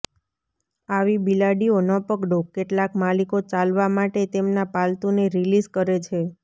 આવી બિલાડીઓ ન પકડો કેટલાક માલિકો ચાલવા માટે તેમના પાલતુને રિલીઝ કરે છે